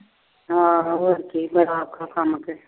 ਹਾਂ ਹੋਰ ਠੀਕ ਆ।